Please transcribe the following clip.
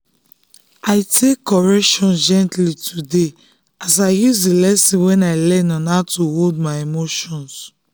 i take correction gently today as i use the lesson wey i learn on how to hold my emotions.